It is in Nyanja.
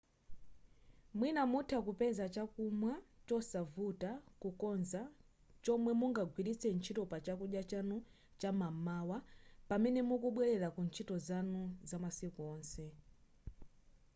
mwina mutha kupeza chakumwa chosavuta kukonza chomwe mungagwiritse ntchito pa chakudya chanu cham'mawa pamene mukubwelera ku ntchito zanu zamasiku onse